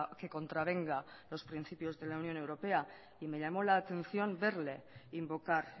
que contravenga los principios de la unión europea y me llamó la atención verle invocar